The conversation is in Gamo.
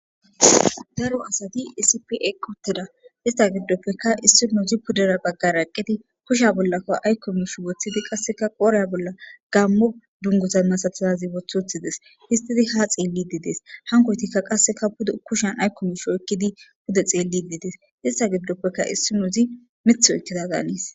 Daro asat issippe eqi utida ista gidoppeka pudera bagara eqid kusheza bollaka ayko mish wothid bollaka gaamo dunguza masatizaz wothi utides , histid ha xeles.hankoytika qase kushan ayko mish wothid pude xelid Des. Ista gidoppeka issinoz mith oykida Danes.